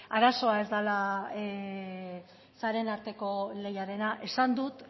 arazoa ez dela sareen arteko lehiarena esan dut